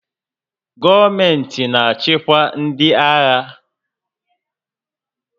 Gọọmentị na-achịkwa ndị agha.